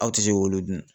Aw tɛ se k'olu dun